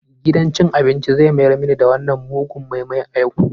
Gidan cin abinci zai mayar mini da wannan mugun moi-moi a yau.